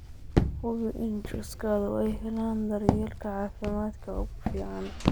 Hubi in chicksadu ay helaan daryeelka caafimaadka ugu fiican.